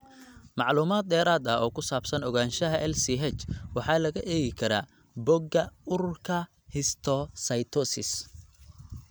Macluumaad dheeraad ah oo ku saabsan ogaanshaha LCH waxaa laga eegi karaa bogga Ururka Histiocytosis.